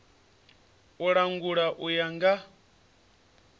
u langula u ya nga